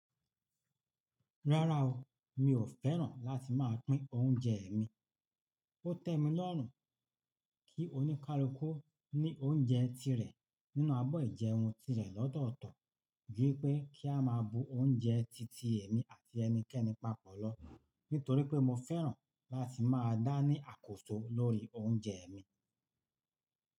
Rárá o, mi ò fẹ́ràn láti máa pín oúnjẹ mi. Ó tẹ́ mi lọ́rùn kí oníkálukú ní oúnjẹ tirẹ̀ nínú abọ́ ìjẹun tirẹ̀ lọ́tọ̀ọ̀tọ̀ juípé kí a máa bu oúnjẹ titi èmi àti ẹnikẹ́ni papọ̀ lọ, nítorí pé mo fẹ́ràn láti máa dáni àkóso lórí oúnjẹ mi.